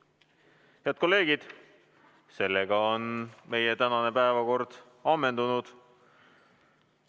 Head kolleegid, sellega on meie tänane päevakord ammendunud.